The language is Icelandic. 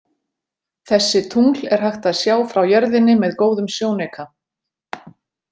Þessi tungl er hægt að sjá frá jörðinni með góðum sjónauka.